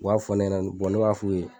U b'a fɔ ne ɲɛnɛ bɔn ne b'a f'u ye